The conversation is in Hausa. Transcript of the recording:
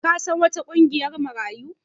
Ka san wata ƙungiyar Marayu?